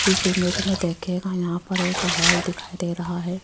इसे इमेज में देखियेगा यहां पर एक हॉल दिखाई दे रहा है।